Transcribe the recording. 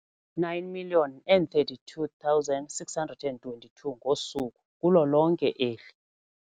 9 032 622 ngosuku kulo lonke eli.